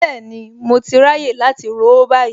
Bẹ́ẹ̀ni mo ti ráyè láti ró báyìí